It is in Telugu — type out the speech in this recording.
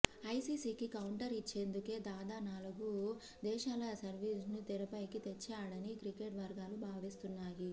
ఐసీసీకి కౌంటర్ ఇచ్చేందుకే దాదా నాలుగు దేశాల సిరీస్ను తెరపైకి తెచ్చాడని క్రికెట్ వర్గాలు భావిస్తున్నాయి